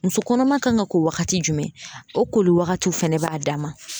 Muso kɔnɔma kan ka ko wagati jumɛn o koli waagatiw fɛnɛ b'a dama.